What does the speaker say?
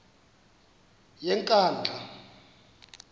yenkandla